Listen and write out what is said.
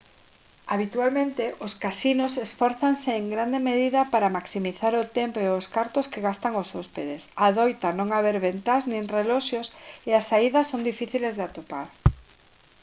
habitualmente os casinos esfórzanse en grande medida para maximizar o tempo e os cartos que gastan os hóspedes adoita non haber ventás nin reloxos e as saídas son difíciles de atopar